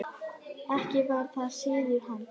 Ekki var það siður hans.